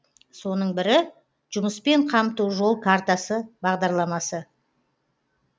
соның бірі жұмыспен қамту жол картасы бағдарламасы